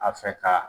A fɛ ka